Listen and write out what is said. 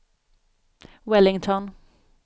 Wellington